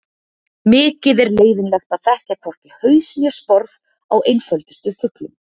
Mikið er leiðinlegt að þekkja hvorki haus né sporð á einföldustu fuglum.